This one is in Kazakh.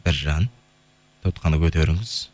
біржан тұтқаны көтеріңіз